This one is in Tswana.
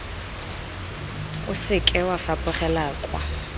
o seke wa fapogela kwa